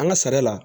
An ka sara la